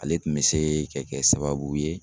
Ale tun be se ka kɛ sababu ye